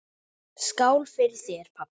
Skál fyrir þér, pabbi!